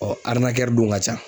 Ɔɔ dun ka ca.